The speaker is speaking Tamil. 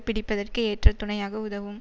பிடிப்பதற்கு ஏற்ற துணையாக உதவும்